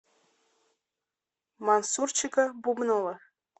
мансурчика бубнова